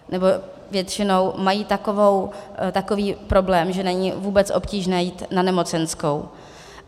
Nebo většinou mají takový problém, že není vůbec obtížné jít na nemocenskou.